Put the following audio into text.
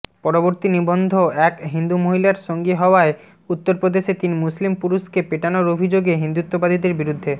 পরবর্তী নিবন্ধএক হিন্দু মহিলার সঙ্গী হওয়ায় উত্তরপ্রদেশে তিন মুসলিম পুরুষকে পেটানোর অভিযোগ হিন্দুত্ববাদীদের বিরুদ্ধে